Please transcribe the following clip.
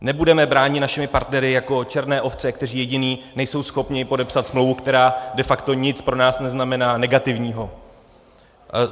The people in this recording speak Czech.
Nebudeme bráni našimi partnery jako černé ovce, kteří jediní nejsou schopni podepsat smlouvu, která de facto nic pro nás neznamená negativního.